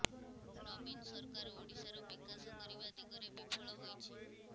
ନବୀନ ସରକାର ଓଡ଼ିଶାର ବିକାଶ କରିବା ଦିଗରେ ବିଫଳ ହୋଇଛି